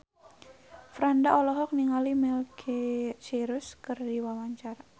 Franda olohok ningali Miley Cyrus keur diwawancara